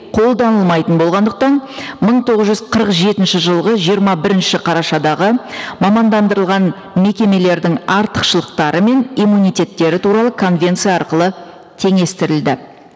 қолданылмайтын болғандықтан мың тоғыз жүз қырық жетінші жылғы жиырма бірінші қарашадағы мамандандырылған мекемелердің артықшылықтары мен иммунитеттері туралы конвенция арқылы теңестірілді